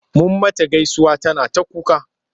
Mun mata gaisuwa tana ta kuka.